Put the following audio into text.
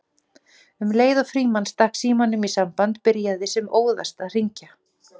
Um leið og Frímann stakk símanum í samband byrjaði sem óðast að hringja